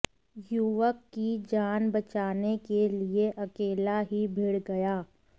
युवक की जान बचाने के लिए अकेला ही भिड़ गया